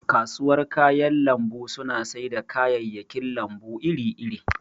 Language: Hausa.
kasuwar kayan lambu suna sai da kayayyakin lambu iri iri